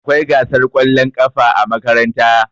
Akwai gasar kwallon ƙafa a makaranta.